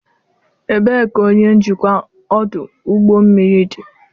Ebee ka onye njikwa ọdụ ụgbọ mmiri dị?